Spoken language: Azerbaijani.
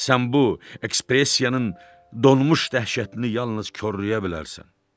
Sən bu ekspresiyanın donmuş dəhşətini yalnız korlaya bilərsən.